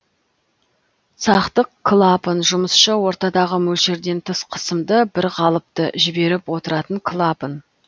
сақтық клапан жұмысшы ортадағы мөлшерден тыс қысымды бір қалыпты жіберіп отыратын клапан